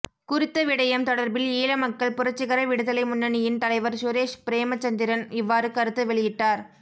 குறித்த விடயம் தொடர்பில் ஈழமக்கள் புரட்சிகர விடுதலை முன்னணியின் தலைவர் சுரேஷ் பிரேமசந்திரன் இவ்வாறு கருத்து வெளியிட்டார்